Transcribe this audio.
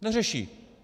Neřeší.